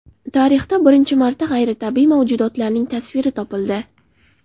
Tarixda birinchi marta g‘ayritabiiy mavjudotlarning tasviri topildi.